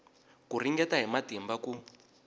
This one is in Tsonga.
ku ringeta hi matimba ku